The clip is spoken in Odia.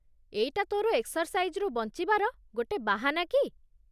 ଏଇଟା ତୋ'ର ଏକ୍ସର୍ସାଇଜ୍‌ରୁ ବଞ୍ଚିବାର ଗୋଟେ ବାହାନା କି?